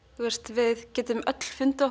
við getum öll fundið